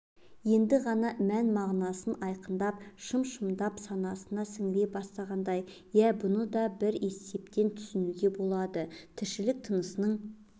енді ғана мән-мағынасы айқындалып шым-шымдап санасына сіңе бастағандай иә бұны да бір есептен түсінуге болады тірлік-тынысыңның